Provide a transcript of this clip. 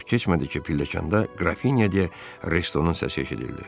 Çox keçmədi ki, pilləkəndə Qrafinya de Restonun səsi eşidildi.